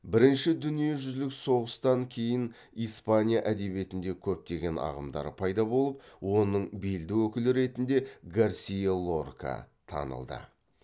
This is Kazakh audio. бірінші дүниежүзілік соғыстан кейін испания әдебиетінде көптеген ағымдар пайда болып оның белді өкілі ретінде гарсиа лорка танылды